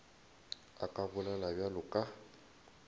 a ka bolela bjalo ka